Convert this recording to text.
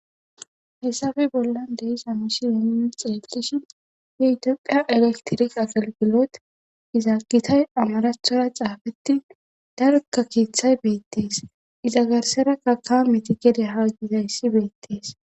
Hesafe bollan dehi samushi yeemu xeelishi yeitoqiya elektiri agalgilot izaagitay amarathora xaafetti darkka kiithay beettees izagarsera ka ka meti gede haa gizayssi beettees.